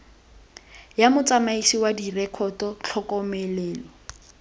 ya motsamaisi wa direkoto tlhokomelo